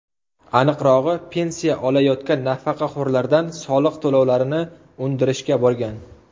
Aniqrog‘i, pensiya olayotgan nafaqaxo‘rlardan soliq to‘lovlarini undirishga borgan.